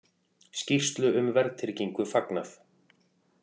Skýrslu um verðtryggingu fagnað